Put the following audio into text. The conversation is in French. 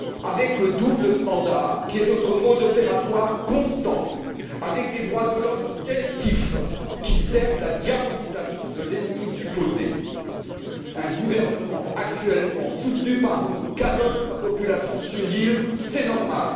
Avec le deux poids deux mesures qui est notre mode opératoire constant et avec des droits de l'homme sélectifs qui servent la diabolisation de l'ennemi supposé, un gouvernement actuellement soutenu par nous canonne sa population civile et c'est normal.